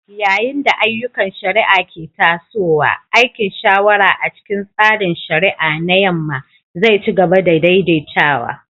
Yayin da ayyukan shari'a ke tasowa, aikin shawara a cikin tsarin shari'a na Yamma zai ci gaba da daidaitawa.